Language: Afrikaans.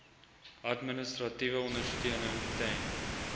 administratiewe ondersteuning ten